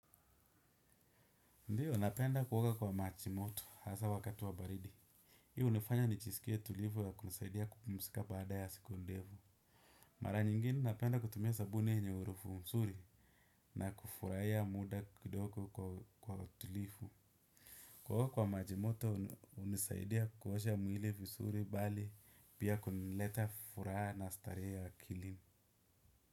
Ndiyo, napenda kuoga kwa maji moto hasa wakati wa baridi. Hii hunifanya ni jiskie tulivu ya kunisaidia kupumuzika baada ya siku ndefu. Mara nyingine, napenda kutumia sabuni yenye harufu msuri na kufuraia muda kidoko kwa tulifu. Kuoa kwa maj imoto, unisaidia kuosha mwili visuri bali pia kunileta furaha na staree akilini.